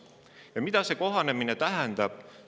Ja mida see kohanemine tähendab?